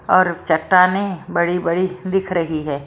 और चट्टाने बड़ी-बड़ी दिख रही है।